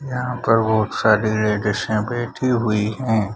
यहाँ पर बहुत सारी लेडीज यहाँ बैठी हुई हैं।